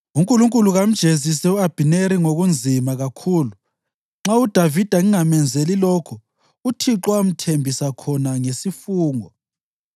UNkulunkulu kamjezise u-Abhineri ngokunzima kakhulu, nxa uDavida ngingamenzeli lokho uThixo amthembisa khona ngesifungo